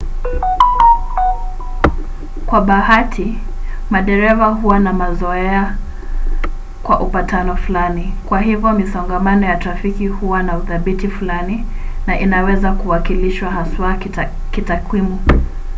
kwa bahati madereva huwa na mazoea kwa upatano fulani; kwa hivyo misongamano ya trafiki huwa na uthabiti fulani na inaweza kuwakilishwa haswa kitakwimu